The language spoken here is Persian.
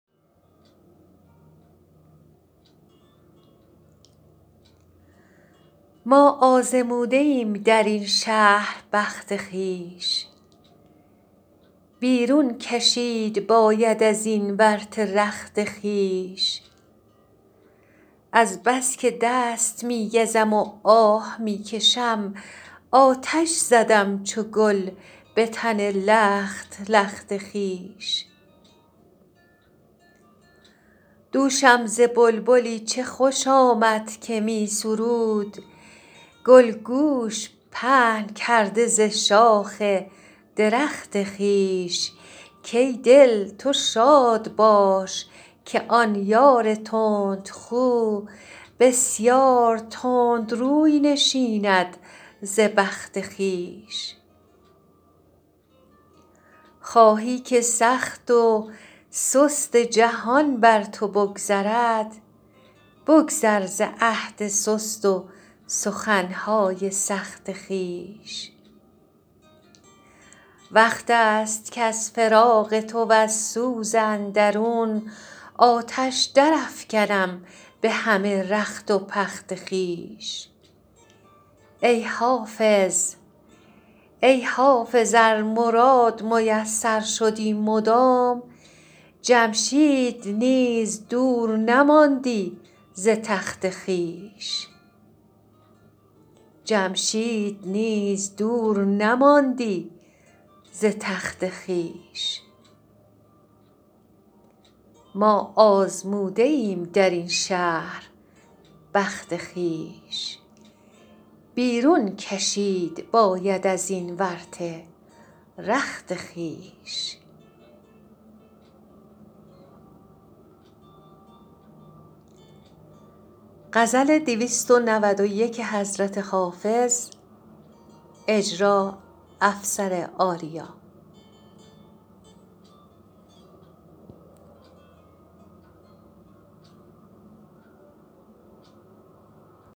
ما آزموده ایم در این شهر بخت خویش بیرون کشید باید از این ورطه رخت خویش از بس که دست می گزم و آه می کشم آتش زدم چو گل به تن لخت لخت خویش دوشم ز بلبلی چه خوش آمد که می سرود گل گوش پهن کرده ز شاخ درخت خویش کای دل تو شاد باش که آن یار تندخو بسیار تند روی نشیند ز بخت خویش خواهی که سخت و سست جهان بر تو بگذرد بگذر ز عهد سست و سخن های سخت خویش وقت است کز فراق تو وز سوز اندرون آتش درافکنم به همه رخت و پخت خویش ای حافظ ار مراد میسر شدی مدام جمشید نیز دور نماندی ز تخت خویش